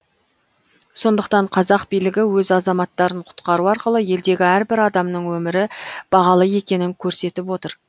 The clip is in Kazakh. сондықтан қазақ билігі өз азаматтарын құтқару арқылы елдегі әрбір адамның өмірі бағалы екенін көрсетіп отыр